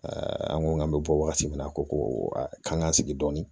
an ko k'an bɛ bɔ wagati min na a ko ko an k'an sigi dɔɔnin